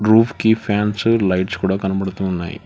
Roof కీ fans lights కూడా కనబడుతూ ఉన్నాయి.